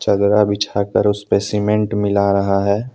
चदरा बिछाकर उसपे सीमेंट मिला रहा है।